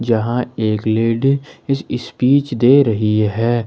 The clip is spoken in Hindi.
यहां एक लेडी स्पीच दे रही है।